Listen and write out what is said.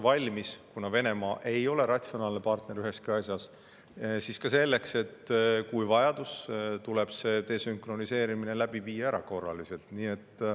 Ja kuna Venemaa ei ole ratsionaalne partner üheski asjas, siis ollakse valmis ka selleks, et kui on vajadus, siis tuleb see desünkroniseerimine läbi viia erakorraliselt.